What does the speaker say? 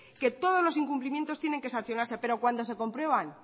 que todos los incumplimientos tienen que sancionarse pero cuando se comprueban